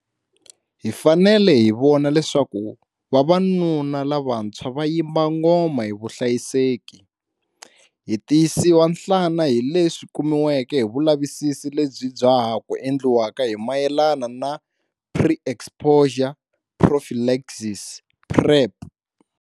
Hi fanele hi vona leswaku vavanuna lavantshwa va yimba ngoma hi vuhlayiseki. Hi tiyisiwa nhlana hi leswi kumiweke hi vulavisisi lebyi bya ha ku endliwaka hi mayelana na pre-exposure prophylaxis, PrEP.